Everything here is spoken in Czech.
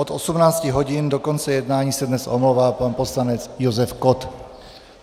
Od 18 hodin do konce jednání se dnes omlouvá pan poslanec Josef Kott.